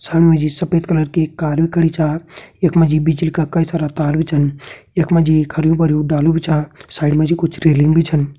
समिणी मा जी एक सफेद कलर कार भी खड़ी छा यख मा जी बिजली का कई तार भी छन यख मा जी एक हरयूं भरयुं डालू भी छा साइड मा जी कुछ रेलिंग भी छन।